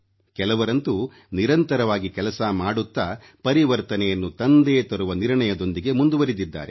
ಕೆಲವರಂತೂ ನಿರಂತರವಾಗಿ ಕೆಲಸ ಮಾಡುತ್ತಾ ಪರಿವರ್ತನೆಯನ್ನು ತಂದೇ ತರುವ ನಿರ್ಣಯದೊಂದಿಗೆ ಮುಂದುವರಿದಿದ್ದಾರೆ